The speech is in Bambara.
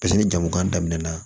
Paseke ni jamu kan daminɛna